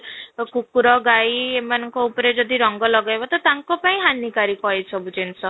କୁକୁର ଗାଈ ଏମାନଙ୍କ ଉପରେ ଯଦି ରଙ୍ଗ ଲଗେଇବ ତ ତାଙ୍କ ପାଇଁ ହାନି କାରିକ ଏ ସବୁ ଜିନିଷ ହେଲେ ବି ଏମାନେ